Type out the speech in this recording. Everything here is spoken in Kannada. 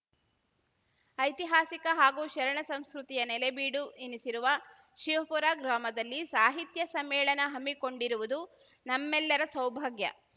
ಐತಿಹಾಸಿಕ ಹಾಗೂ ಶರಣ ಸಂಸ್ಕೃತಿಯ ನೆಲೆಬೀಡು ಎನಿಸಿರುವ ಶಿವಪುರ ಗ್ರಾಮದಲ್ಲಿ ಸಾಹಿತ್ಯ ಸಮ್ಮೇಳನ ಹಮ್ಮಿಕೊಂಡಿರುವುದು ನಮ್ಮೆಲ್ಲರ ಸೌಭಾಗ್ಯ